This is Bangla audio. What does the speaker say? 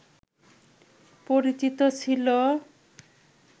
পরিচিত ছিল